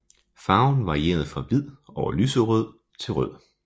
Farven varieret fra hvid over lyserød til rød